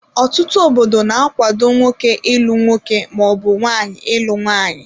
Ọtụtụ obodo na-akwado nwoke ịlụ nwoke maọbụ nwaanyị ịlụ nwaanyị.